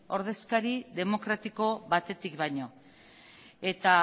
ordezkari demokratiko batetik baino eta